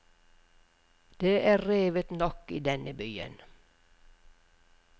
Det er revet nok i denne byen.